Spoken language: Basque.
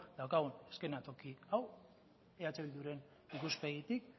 daukagun eszenatoki hau eh bilduren ikuspegitik